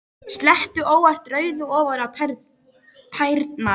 Sletti óvart rauðu ofan á tærnar.